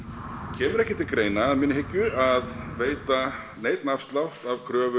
kemur ekki til greina að minni hyggju að veita neinn afslátt af kröfum